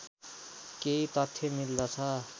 केही तथ्य मिल्दछ